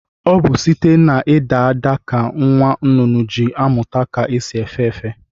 Ọ bụ site n'ịda ada ka nwa nnụnụ ji amụta ka esi efe efe.